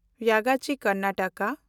Yagachi (Karnataka)